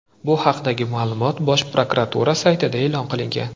Bu haqdagi ma’lumot Bosh prokuratura saytida e’lon qilingan .